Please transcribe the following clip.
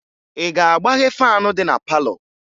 Ị ga-agbaghe faanụ dị na palọ?